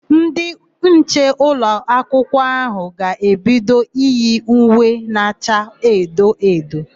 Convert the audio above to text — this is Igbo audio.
Ndị nche nọ n'ụlọakụ áhụ̀ ga-ebido iyi uwe na acha edo edo.